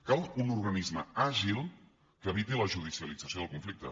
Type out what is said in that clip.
cal un organisme àgil que eviti la judicialització del conflicte